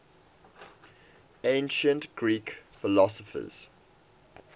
ancient greek philosophers